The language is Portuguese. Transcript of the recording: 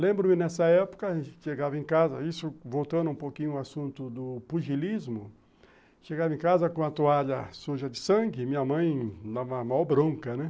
Lembro-me, nessa época, chegava em casa, isso voltando um pouquinho ao assunto do pugilismo, chegava em casa com a toalha suja de sangue, minha mãe dava a maior bronca, né?